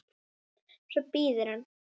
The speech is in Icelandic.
Svo bíður hann.